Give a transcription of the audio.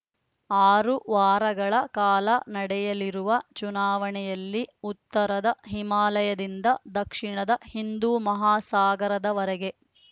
ಆರು ವಾರಗಳ ಕಾಲ ನಡೆಯಲಿರುವ ಚುನಾವಣೆಯಲ್ಲಿ ಉತ್ತರದ ಹಿಮಾಲಯದಿಂದ ದಕ್ಷಿಣದ ಹಿಂದೂಮಹಾಸಾಗರದವರೆಗೆ